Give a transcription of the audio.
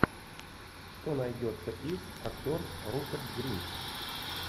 что найдется из актер руперт гринт